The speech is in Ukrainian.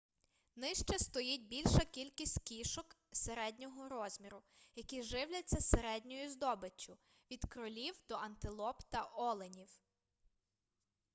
нижче стоїть більша кількість кішок середнього розміру які живляться середньою здобиччю від кролів до антилоп та оленів